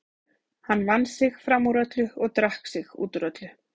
Hann vann sig fram úr öllu og drakk sig út úr öllu.